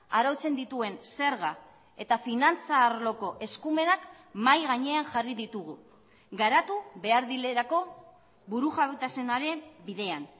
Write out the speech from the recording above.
arautzen dituen zerga eta finantza arloko eskumenak mahai gainean jarri ditugu garatu behar direlako burujabetasunaren bidean